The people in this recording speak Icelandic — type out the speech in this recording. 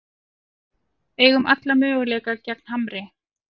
Eigum alla möguleika gegn Hamri